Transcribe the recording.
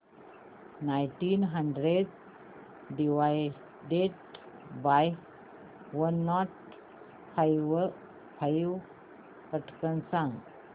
nineteen hundred divided by one nought five पटकन सांग